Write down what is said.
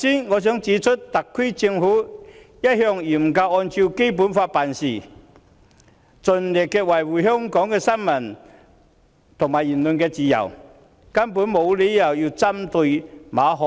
我想指出，特區政府一向嚴格按照《基本法》辦事，盡力維護新聞和言論自由，根本沒有理由針對馬凱。